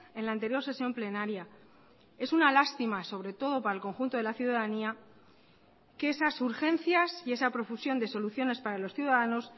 en la anterior sesión plenaria es una lástima sobre todo para el conjunto de la ciudadanía que esas urgencias y esa profusión de soluciones para los ciudadanos